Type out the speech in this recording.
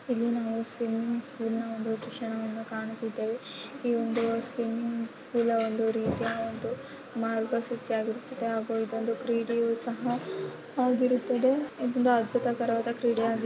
ಇಲ್ಲಿ ನಾವು ಒಂದು ಸ್ವಿಮಿಂಗ್‌ ಪೂಲ್‌ ನ ದೃಶ್ಯಣವನ್ನು ಕಾಣುತ್ತಿದ್ದೇವೆ ಈ ಒಂದು ಸ್ವಿಮಿಂಗ್‌ ಪೂಲ್‌ ಒಂದು ರೀತಿಯ ಒಂದು ಮಾರ್ಗಾ ಸೂಚಿ ಆಗಿರುತ್ತದೆ ಆಗೂ ಇದೊಂದು ಕ್ರೀಡೆಯೂ ಸಹಾ ಆಗಿರುತ್ತದೆ ತುಂಬಾ ಅದ್ಬುತಕರವಾದ ಕ್ರೀಡೆ ಆಗಿರು --